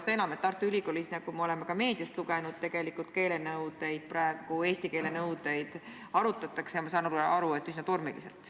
Seda enam, et Tartu Ülikoolis, nagu me oleme ka meediast lugenud, arutatakse keelenõudeid praegu, nagu ma aru saan, üsna tormiliselt.